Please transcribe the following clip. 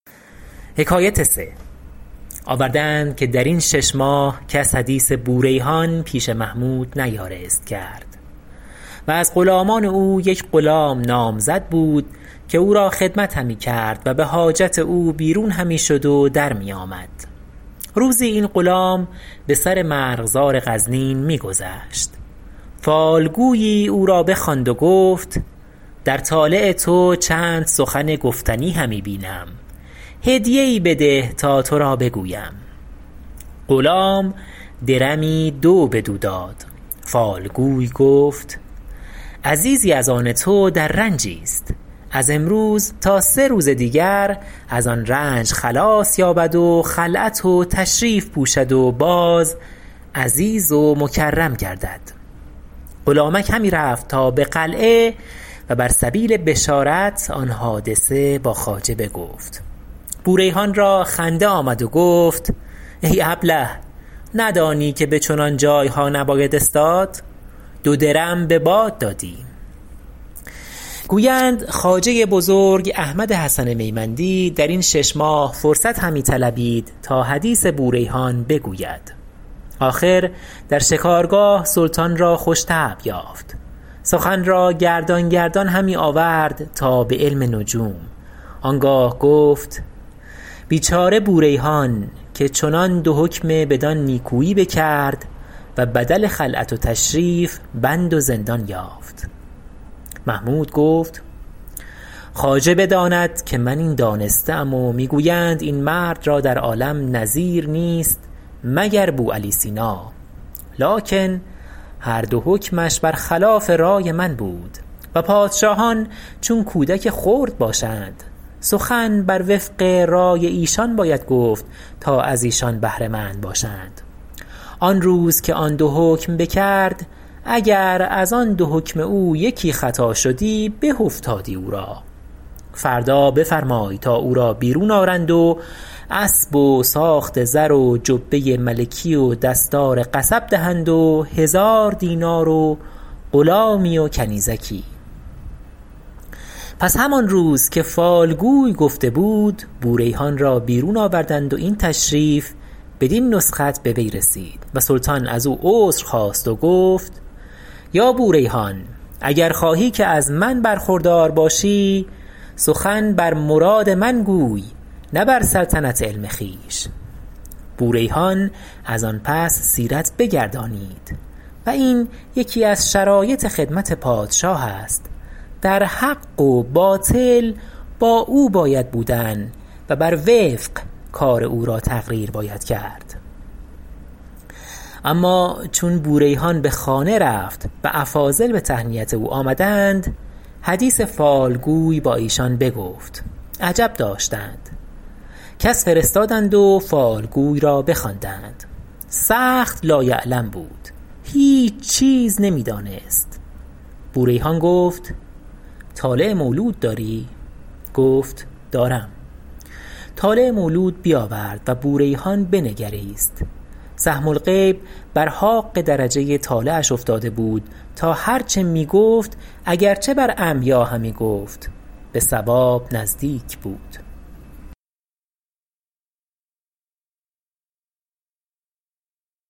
آورده اند که در این شش ماه کس حدیث بوریحان پیش محمود نیارست کرد و از غلامان او یک غلام نامزد بود که او را خدمت همی کرد و به حاجت او بیرون همی شد و در می آمد روزی این غلام به سر مرغزار غزنین می گذشت فالگویی او را بخواند و گفت در طالع تو چند سخن گفتنی همی بینم هدیه ای بده تا تو را بگویم غلام درمی دو بدو داد فالگوی گفت عزیزی از آن تو در رنجی است از امروز تا سه روز دیگر از آن رنج خلاص یابد و خلعت و تشریف پوشد و باز عزیز و مکرم گردد غلامک همی رفت تا به قلعه و بر سبیل بشارت آن حادثه با خواجه بگفت بوریحان را خنده آمد و گفت ای ابله ندانی که به چنان جایها نباید استاد دو درم به باد دادی گویند خواجه بزرگ احمد حسن میمندی در این شش ماه فرصت همی طلبید تا حدیث بوریحان بگوید آخر در شکارگاه سلطان را خوش طبع یافت سخن را گردان گردان همی آورد تا به علم نجوم آنگاه گفت بیچاره بوریحان که چنان دو حکم بدان نیکویی بکرد و بدل خلعت و تشریف بند و زندان یافت محمود گفت خواجه بداند که من این دانسته ام و می گویند این مرد را در عالم نظیر نیست مگر بوعلی سینا لکن هر دو حکمش بر خلاف رأی من بود و پادشاهان چون کودک خرد باشند سخن بر وفق رأی ایشان باید گفت تا از ایشان بهره مند باشند آن روز که آن دو حکم بکرد اگر از آن دو حکم او یکی خطا شدی به افتادی او را فردا بفرمای تا او را بیرون آرند و اسب و ساخت زر و جبه ملکی و دستار قصب دهند و هزار دینار و غلامی و کنیزکی پس همان روز که فالگوی گفته بود بوریحان را بیرون آوردند و این تشریف بدین نسخت به وی رسید و سلطان از او عذر خواست و گفت یا بوریحان اگر خواهی که از من برخوردار باشی سخن بر مراد من گوی نه بر سلطنت علم خویش بوریحان از آن پس سیرت بگردانید و این یکی از شرایط خدمت پادشاه است در حق و باطل با او باید بودن و بر وفق کار او را تقریر باید کرد اما چون بوریحان به خانه رفت و افاضل به تهنیت او آمدند حدیث فالگوی با ایشان بگفت عجب داشتند کس فرستادند و فالگوی را بخواندند سخت لایعلم بود هیچ چیز نمی دانست بوریحان گفت طالع مولود داری گفت دارم طالع مولود بیاورد و بوریحان بنگریست سهم الغیب بر حاق درجه طالعش افتاده بود تا هر چه می گفت اگر چه بر عمیا همی گفت به صواب نزدیک بود